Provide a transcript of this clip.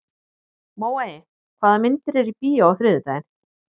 Móey, hvaða myndir eru í bíó á þriðjudaginn?